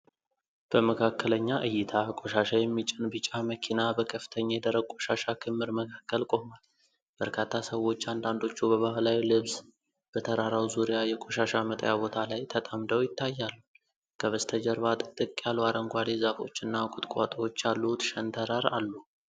በመካከለኛ ዕይታ፣ ቆሻሻ የሚጭን ቢጫ መኪና በከፍተኛ የደረቅ ቆሻሻ ክምር መካከል ቆሟል። በርካታ ሰዎች፣ አንዳንዶቹ በባህላዊ ልብስ፣ በተራራው ዙሪያ የቆሻሻ መጣያ ቦታ ላይ ተጠምደው ይታያሉ። ከበስተጀርባ ጥቅጥቅ ያሉ አረንጓዴ ዛፎች እና ቁጥቋጦዎች ያሉት ሸንተረር አሉ።